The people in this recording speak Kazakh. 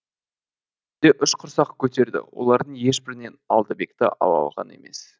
үш құрсақ көтерді олардың ешбірінен алдабекті алалаған емес